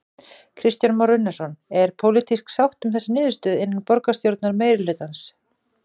Kristján Már Unnarsson: Er pólitísk sátt um þessa niðurstöðu innan borgarstjórnar meirihlutans?